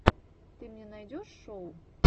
ты мне найдешь шоу